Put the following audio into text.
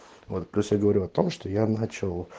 вот просто говорю о том что я начал